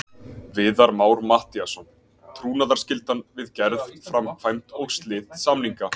Viðar Már Matthíasson: Trúnaðarskyldan við gerð, framkvæmd og slit samninga.